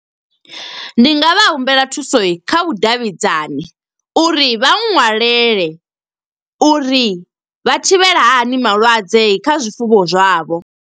Ndi nga vha humbela thuso kha vhudavhidzani, uri vha ṅwalele uri vha thivhela hani malwadze kha zwifuwo zwavho.